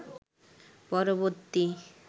পরবর্তী